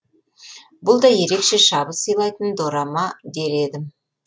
бұл да ерекше шабыт сыйлайтын дорама дер едім